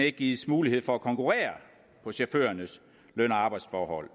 ikke gives mulighed for at konkurrere på chaufførernes løn og arbejdsforhold